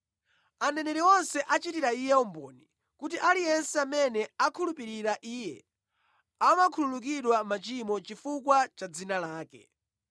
Aneneri onse achitira Iye umboni kuti aliyense amene akhulupirira Iye amakhululukidwa machimo chifukwa cha dzina lake.”